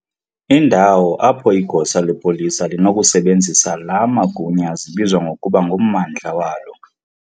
indawo apho igosa lepolisa linokusebenzisa laa magunya zibizwa ngokuba ngummandla walo.